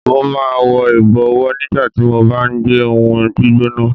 Mo máa ń wọ ìbọ̀wọ́ nígbà tí mo bá gbé ohùn gbígbóná.